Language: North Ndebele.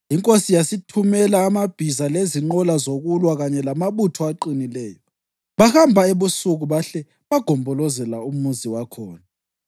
Inkosi yasithumela amabhiza lezinqola zokulwa kanye lamabutho aqinileyo. Bahamba ebusuku bahle bagombolozela umuzi wakhona.